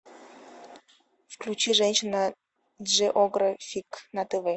включи женщина джеографик на тв